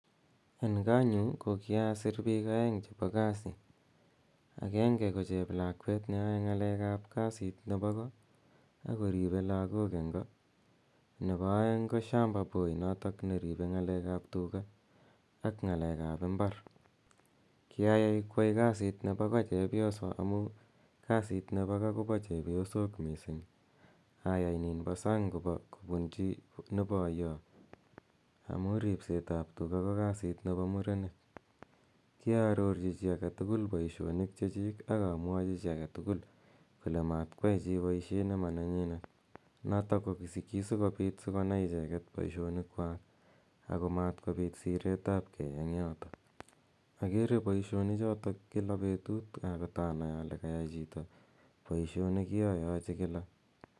En konyu ko kiasi piik aeng' chepo kasi. Agenge ko cheplakwet ne yae ng'alek ap kasit nepo ko ako ripei lagok eng' ko. Nepo aeng' ko shamba boy notok ne ripei ng'alek ap tuga ak ng'alek ap imbar. Kiayai koyai kasit nepo ko chepyoso amu kasit nepo ko ko pa chepyosok missing', ayai nin po sang' kopunchi ne poya amu ripset ap tuga ko kasit nepo murenik. Kiarorchi chi age tugul poishonik che chik ak amwachi chi age tugull kole matkoyai chi poishet ne ma nenyinet. Notok ko ki si kopit si konai icheket poishonikwak ako mat kopit siretap gei eng' yotok. Agere poishonichotok kila petut kot anai ale kayai chi poishonik che kakachi kila.